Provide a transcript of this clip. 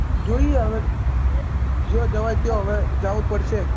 જોઈએ હવે જો જવાશે તો હવે જવું જ પડશે